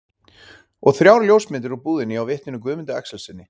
Og þrjár ljósmyndir úr búðinni hjá vitninu Guðmundi Axelssyni.